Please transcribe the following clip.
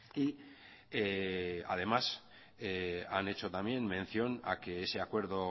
y además han hecho también mención a que ese acuerdo